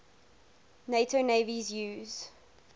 nato navies use